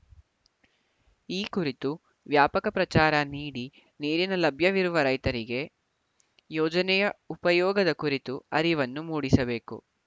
ಈ ಕುರಿತು ವ್ಯಾಪಕ ಪ್ರಚಾರ ನೀಡಿ ನೀರಿನ ಲಭ್ಯವಿರುವ ರೈತರಿಗೆ ಯೋಜನೆಯ ಉಪಯೋಗದ ಕುರಿತು ಅರಿವನ್ನು ಮೂಡಿಸಬೇಕು